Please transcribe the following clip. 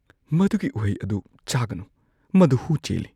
ꯃꯗꯨꯒꯤ ꯎꯍꯩ ꯑꯗꯨ ꯆꯥꯒꯅꯨ꯫ ꯃꯗꯨ ꯍꯨ ꯆꯦꯜꯂꯤ꯫